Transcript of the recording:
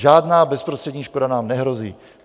Žádná bezprostřední škoda nám nehrozí.